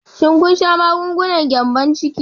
Shin kun sha magungunan gyambon ciki?